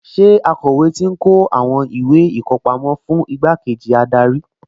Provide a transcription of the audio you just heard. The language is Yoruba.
Ṣé akọ̀wé ti ń kó àwọn ìwé ìkọpámọ́ fún igbákejì adarí?